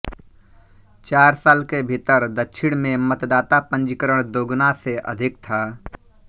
चार साल के भीतर दक्षिण में मतदाता पंजीकरण दोगुना से अधिक था